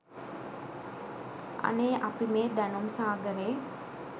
අනේ අපි මේ දැනුම් සාගරේ